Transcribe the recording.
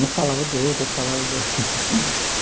Um falava do outro, outro falava do outro.